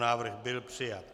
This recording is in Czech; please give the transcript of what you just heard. Návrh byl přijat.